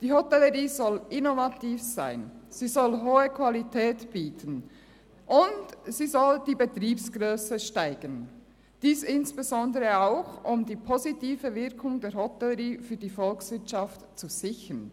Die Hotellerie soll innovativ sein, sie soll hohe Qualität bieten, und sie soll die Betriebsgrösse steigern, insbesondere auch, um die positive Wirkung der Hotellerie für die Volkswirtschaft zu sichern.